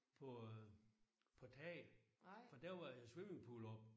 På på taget for der var swimmingpool oppe